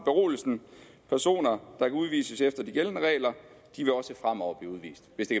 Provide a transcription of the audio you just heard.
at berolige personer der kan udvises efter de gældende regler vil også fremover blive udvist hvis det